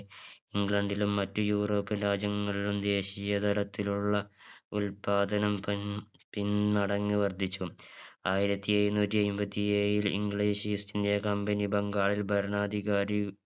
ഇംഗ്ലണ്ടിലും മറ്റ് Europian രാജ്യങ്ങളിലും ദേശീയ തലത്തിലുള്ള ഉത്പാദനം പിൻ പിൻ മടങ്ങ് വർധിച്ചു ആയിരത്തി എഴുന്നൂറ്റി അയ്മ്പത്തിയേഴിൽ English East India Company ബംഗാളിൽ ഭരണാധികാരി